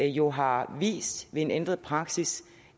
jo har vist ved en ændret praksis